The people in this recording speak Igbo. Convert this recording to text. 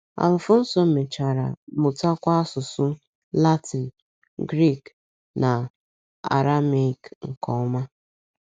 Alfonso mechara mụtakwa asụsụ Latịn, Grik, na Arameik nke ọma.